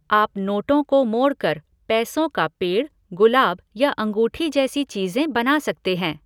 आप नोटों को मोड़कर, पैसों का पेड़, गुलाब या अंगूठी जैसी चीज़ें बना सकते हैं।